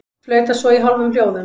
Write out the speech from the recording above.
Flauta svo í hálfum hljóðum.